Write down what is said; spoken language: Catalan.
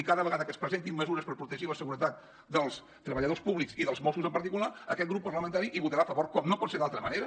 i cada vegada que es presentin mesures per protegir la seguretat dels treballadors públics i dels mossos en particular aquest grup parlamentari hi votarà a favor com no pot ser d’altra manera